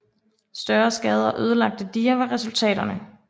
Større skader og ødelagte diger var resultaterne